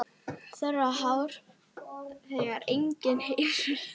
Þerrar tár þegar engin eru.